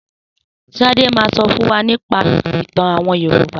Sadá ma sọ fún wa nípa ìtàn àwọn Yorùbá.